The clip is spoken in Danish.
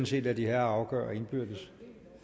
set lade de herrer afgøre indbyrdes